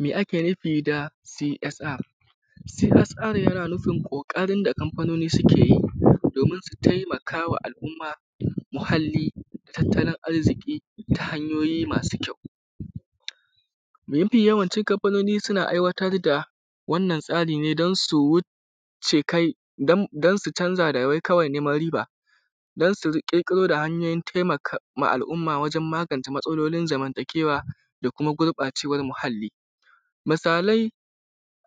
Me ake nufi da CSR CSR yana nufin ƙoƙarin da kamfanoni suke yi domin su taimaka wa al’umma, muhalli, tattalin arziƙi ta hanyoyi masu kyau. Mafi yawancin kamfanoni suna aiwatar da wannan da tsari ne don su wucce kai don su canza da wai kawai neman riba, don su ƙirƙiro da hanyoyin taimaka wa al’umma wajen magance matsalolin zamantakewa da kuma gurɓacewar muhalli. Misalai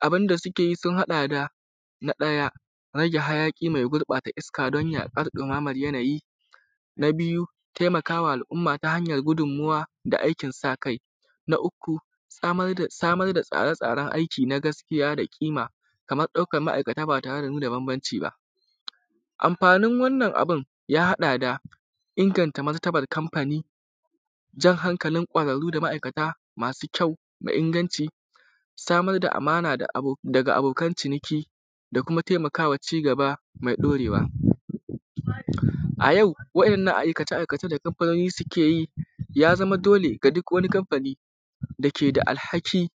abunda suke yi sun haɗa da na ɗaya, rage hayaƙi mai gurɓata iska don yaɗuwar ɗumaman yanayi. Na biyu taimaka wa al’umma ta hanyar gudummawa da aikin sa kai. Na uku, samar da tsare tsaren aiki na gaskiya da ƙima kamar ɗaukan ma’aikata ba tare da nuna bambanci ba. Amfanin wannan abun ya haɗa da inganta martabar kamfani, jan hankalin ƙwararru da ma'aikata masu kyau da inganci, samar da amana daga abo daga abokan ciniki da kuma taimaka wa cigaba mai ɗorewa. A yau waƴaannan aikace aikace da kamfanoni su keyi ya zama dole ga duk wani kamfani da ke da alhaki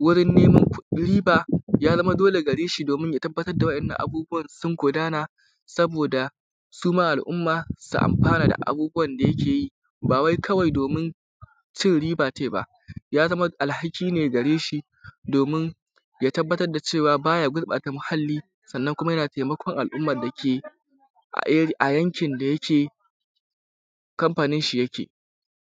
wurin neman riba, ya zama dole gareshi domin ya tabbatar da waƴannan abubuwan sun gudana saboda su ma al’umma su amfana da abubuwan da yake yi, ba wai kawai domin cin riba tai ba. Ya za ma alhaki ne gareshi domin ya tabbatar da cewa ba ya gurɓata muhalli sannan kuma yana taimakon al’umman da ke a yankin da yake kamfaninshi yake.